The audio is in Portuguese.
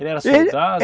Ele era soldado?